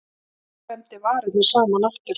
Hann klemmdi varirnar saman aftur.